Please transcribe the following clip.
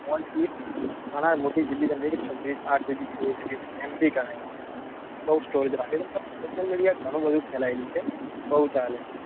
ઘણાય મોટી જીબી એટલે કે આઠ જીબી સોળ જીબી ની mammory ગણાય છે. બઉ storage રાખે છે. મતલબ social media ઘણું બધું ફેલાયેલું છે